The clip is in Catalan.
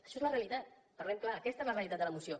això és la realitat parlem clar aquesta és la realitat de la moció